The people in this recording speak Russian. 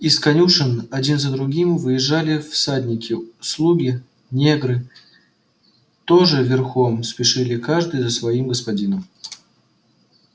из конюшен один за другим выезжали всадники слуги негры тоже верхом спешили каждый за своим господином